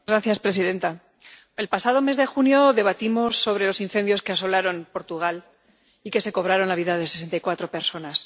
Señora presidenta, el pasado mes de junio debatimos sobre los incendios que asolaron Portugal y que se cobraron la vida de sesenta y cuatro personas.